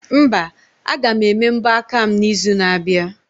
Mba, aga m ebe mbọ aka m na izu na abịa